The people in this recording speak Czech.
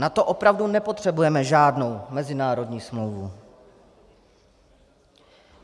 Na to opravdu nepotřebujeme žádnou mezinárodní smlouvu.